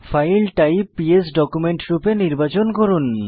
file type PS document রূপে নির্বাচন করুন